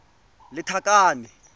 lethakane